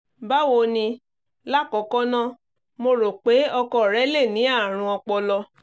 Báwo ni? L'àkọkọ́ náà, mo rò pé ọkọ rẹ lè ní ààrùn ọpọlọ."